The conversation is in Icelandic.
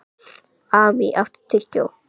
Amý, áttu tyggjó?